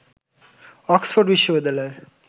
Oxford বিশ্ববিদ্যালয়ের